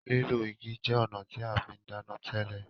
lilọ igi jẹ ọnà tí a fín dana tele.